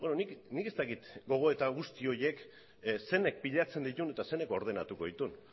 beno nik ez dakit gogoeta guzti horiek zenek pilatzen dituen eta zeinek ordenatuko dituen